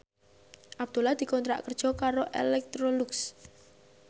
Abdullah dikontrak kerja karo Electrolux